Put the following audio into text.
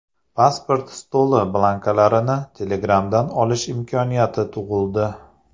Pasport stoli blankalarini Telegram’dan olish imkoniyati tug‘ildi.